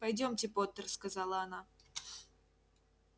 пойдёмте поттер сказала она